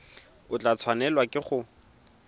o tla tshwanelwa ke go